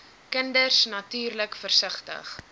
kinders natuurlik versigtig